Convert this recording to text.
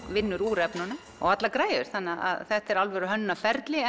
vinnur úr efnunum og allar græjur þetta er alvöru hönnunarferli